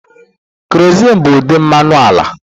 Kerozin bụ ụdị mmanụ ala.